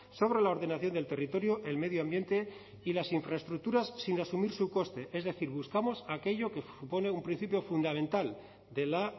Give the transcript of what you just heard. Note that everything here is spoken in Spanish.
sobre la ordenación del territorio el medio ambiente y las infraestructuras sin asumir su coste es decir buscamos aquello que supone un principio fundamental de la